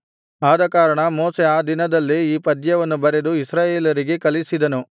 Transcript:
ಆದಕಾರಣ ಮೋಶೆ ಆ ದಿನದಲ್ಲೇ ಈ ಪದ್ಯವನ್ನು ಬರೆದು ಇಸ್ರಾಯೇಲರಿಗೆ ಕಲಿಸಿದನು